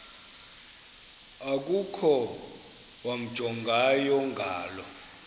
okukhona wamjongay ngaloo